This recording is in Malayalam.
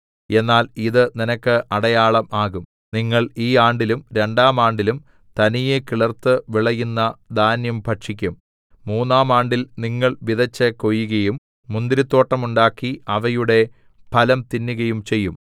എന്നാൽ ഇത് നിനക്ക് അടയാളം ആകും നിങ്ങൾ ഈ ആണ്ടിലും രണ്ടാം ആണ്ടിലും തനിയെ കിളിർത്ത് വിളയുന്ന ധാന്യം ഭക്ഷിക്കും മൂന്നാം ആണ്ടിൽ നിങ്ങൾ വിതെച്ച് കൊയ്യുകയും മുന്തിരിത്തോട്ടം ഉണ്ടാക്കി അവയുടെ ഫലം തിന്നുകയും ചെയ്യും